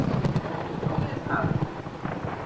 Má ég það?